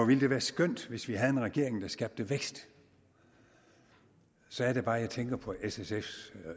ville være skønt hvis vi havde en regering der skabte vækst så er det bare jeg tænker på s sf’s